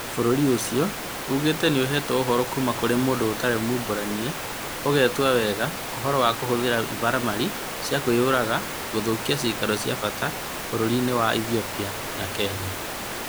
Bũrũri ũcio uugĩte nĩ ũheetwo ũhoro kuuma kũrĩ mũndũ ũtarĩ waumbũrirwo, ũgwetaga wega ũhoro wa kũhũthĩra imaramari cia kwĩyũraga gũthũkia "ciikaro cia bata" bũrũri-inĩ wa Ethiopia na Kenya.